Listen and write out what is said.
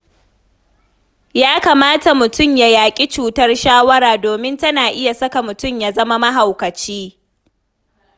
Ya kamata mutum ya yaƙi cutar shawara domin tana iya saka mutum ya zama mahaukaci.